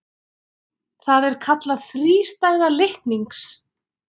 Það er kallað þrístæða litnings.